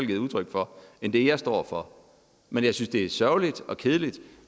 givet udtryk for end det jeg står for men jeg synes det er sørgeligt og kedeligt